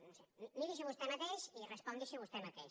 no ho sé miri s’ho vostè mateix i respongui s’ho vostè mateix